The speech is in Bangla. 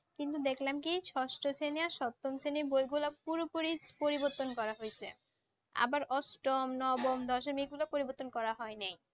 কিন্তু দেখলাম কি ষষ্ঠ শ্রেণি আর সপ্তম শ্রেণির বইগুলো পুরোপুরি পরিবর্তন করা হইছে। আবার অষ্টম, নবম, দশম এইগুলো পরিবর্তন করা হয়নি।